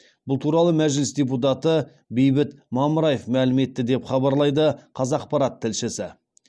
бұл туралы мәжіліс депутат бейбіт мамыраев мәлім етті деп хабарлайды қазақпарат тілшісі